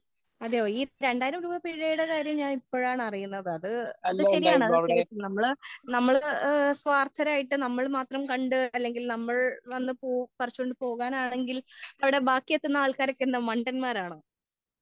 അതേ ഈ രണ്ടായിരം രൂപ പിഴയുടെ കാര്യം ഞാൻ ഇപ്പോഴാണ് അറിയുന്നത് അത് ശരിയാണ് അത് തികച്ചും നമ്മൾ സ്വാർത്ഥരായിട്ട് നമ്മൾ മാത്രം കണ്ട് അല്ലെങ്കിൽ നമ്മൾ വന്ന് പറിച്ചോണ്ട് പോകാനാണെങ്കിൽ അവിടെ ബാക്കി എത്തുന്ന ആൾക്കാർ എന്താ മണ്ടന്മാർ ആണോ